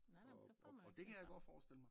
Nej nej men så får man jo ikke altså